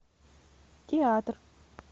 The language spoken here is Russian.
театр